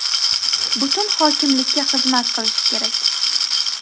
butun hokimlikka xizmat qilishi kerak.